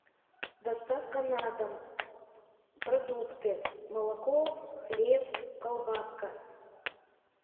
доставка на дом продукты молоко хлеб колбаска